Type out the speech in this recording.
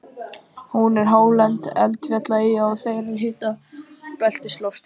Hún er hálend eldfjallaeyja og þar er hitabeltisloftslag.